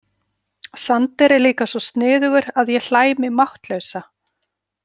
Sander er líka svo sniðugur að ég hlæ mig máttlausa.